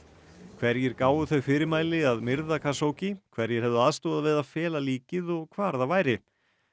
hverjir gáfu þau fyrirmæli að myrða hverjir hefðu aðstoðað við að fela líkið og hvar það væri